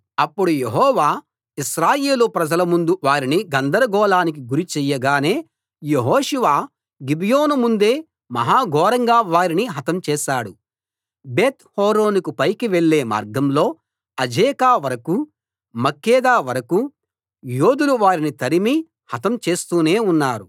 అప్పుడు యెహోవా ఇశ్రాయేలు ప్రజల ముందు వారిని గందరగోళానికి గురి చెయ్యగానే యెహోషువ గిబియోను ముందే మహా ఘోరంగా వారిని హతం చేశాడు బేత్‌హోరోనుకు పైకి వెళ్ళే మార్గంలో అజేకా వరకూ మక్కేదా వరకూ యోధులు వారిని తరిమి హతం చేస్తూనే ఉన్నారు